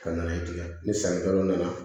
Ka nana ye ten ni sannikɛlaw nana